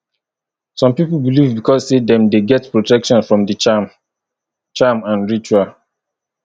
some pipo believe because say dem de get protection from di charm charm and ritual